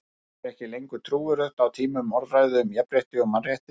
Það þykir ekki lengur trúverðugt á tímum orðræðu um jafnrétti og mannréttindi.